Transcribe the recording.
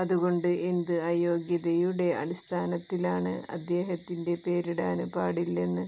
അതുകൊണ്ട് എന്ത് അയോഗ്യതയുടെ അടിസ്ഥാനത്തിലാണ് അദ്ദേഹത്തിന്റെ പേരിടാന് പാടില്ലെന്ന്